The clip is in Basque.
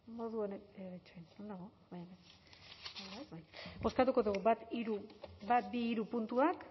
bozkatuko dugu bat bi hiru puntuak